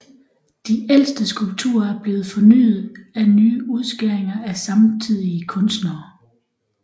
De ældste skulpturer er blevet fornyet af nye udskæringer af samtidige kunstnere